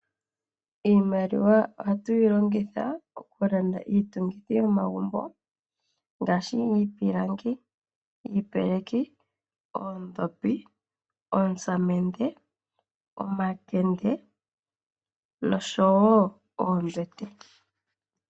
Iimaliwa ohatu yilongitha okulanda iitungithi yomagumbo ngaashi iipilangi, iipeleki ,oondhopi, oosamende ,omakende noshowo oombete.